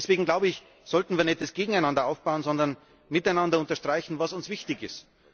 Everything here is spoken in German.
Deswegen, glaube ich, sollten wir nicht das Gegeneinander aufbauen, sondern miteinander unterstreichen, was uns wichtig ist.